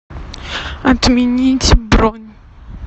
отменить бронь